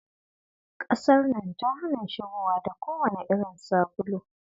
Kasar nan ta hana shigowa da kowanne irin sabulu.